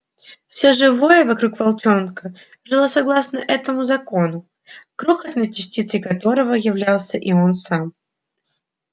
все живое вокруг волчонка жило согласно этому закону крохотной частицей которого являлся и он сам